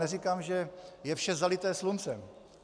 Neříkám, že je vše zalité sluncem.